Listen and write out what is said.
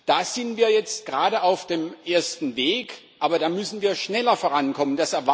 Da sind wir jetzt gerade auf dem ersten Weg, aber da müssen wir schneller vorankommen